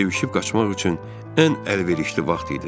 Sivşib qaçmaq üçün ən əlverişli vaxt idi.